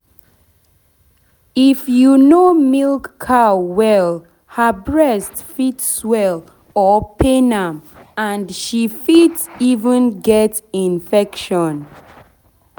if you no milk cow well her breast fit swell or pain am and she fit even get infection.